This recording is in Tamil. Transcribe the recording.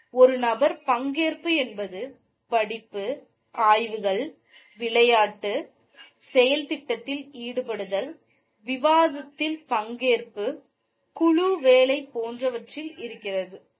ஒரு நபர் பங்கேற்பு என்பது படிப்பு ஆய்வுகள் விளையாட்டு செயல்திட்டத்தில் ஈடுபடுதல் விவாதத்தில் பங்கேற்பு குழு வேலை போன்றவற்றில் இருக்கிறது.